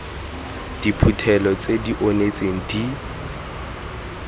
diphuthelo tse di onetseng di